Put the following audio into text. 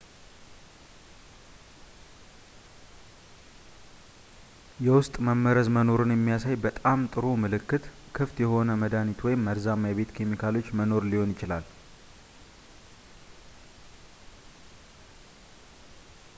የውስጥ መመረዝ መኖሩን የሚያሳይ በጣም ጥሩው ምልክት ክፍት የሆነ መድኃኒት ወይም መርዛማ የቤት ኬሚካሎች መኖር ሊሆን ይችላል